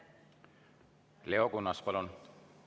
Leo Kunnas, palun!